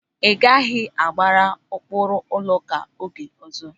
Ị gaghị agbagha ụkpụrụ ụlọụka oge ọzọ!